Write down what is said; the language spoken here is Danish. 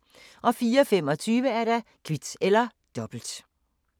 04:25: Kvit eller Dobbelt